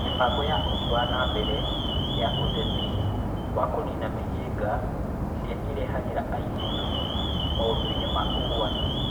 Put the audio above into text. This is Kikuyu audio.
Mĩbango ya ũthii wa na mbere ya ũteti wa kũniina mĩhĩnga ĩrĩa ĩrehagĩra airĩtu maũndũ-inĩ ma ũgwati